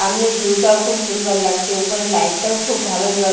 সামনে ভিউ -টাও খুব সুন্দর লাগছে উপরে লাইট - টাও খুব ভালো জল--